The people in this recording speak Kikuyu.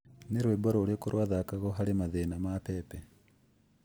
nĩ rwĩmbo rũrĩkũ ruthakaagwo hari mathĩna ma pepe